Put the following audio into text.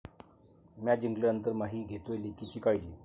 Match जिंकल्यानंतर 'माही' घेतोय लेकीची काळजी!